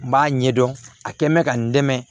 N b'a ɲɛdɔn a kɛ mɛ ka n dɛmɛ